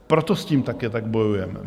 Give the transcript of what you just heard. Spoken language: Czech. Proto s tím také tak bojujeme.